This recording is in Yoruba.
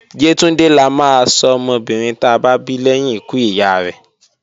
Yétúndé la máa sọ ọmọbìnrin ta bá bí lẹ́yìn ikú ìyá rẹ́